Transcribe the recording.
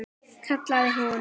kallaði hún.